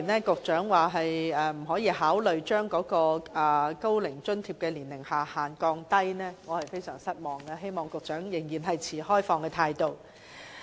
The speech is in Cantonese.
局長說不會考慮下調高齡津貼的年齡下限，我對此感到非常失望，希望局長保持開放態度。